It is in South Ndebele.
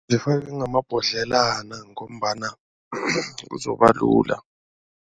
Zifakwe ngamabhodlelwana ngombana kuzobalula.